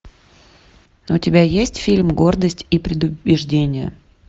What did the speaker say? у тебя есть фильм гордость и предубеждения